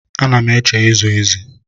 Ana m eche ịzụ ezi.